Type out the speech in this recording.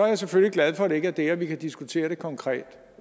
jeg selvfølgelig glad for at det ikke er det og at vi kan diskutere det konkret